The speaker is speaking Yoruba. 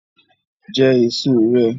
Jẹ èso rẹ!